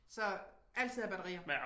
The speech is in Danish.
Så altid hav batterier